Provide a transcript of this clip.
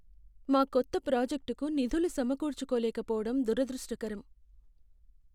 మా కొత్త ప్రాజెక్టుకు నిధులు సమకూర్చుకోలేకపోవడం దురదృష్టకరం.